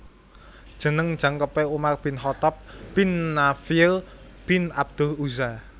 Jeneng jangkepé Umar Bin Khatab Bin Nafiel bin abdul Uzza